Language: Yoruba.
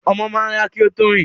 Ọmọ máa ń rà kí ó tó rìn